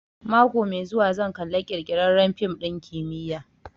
Mako mai zuwa zan kalla ƙirƙirarren fim ɗin kimiyya